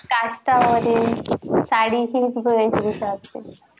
मध्ये साडी हिच वेशभुषा असते.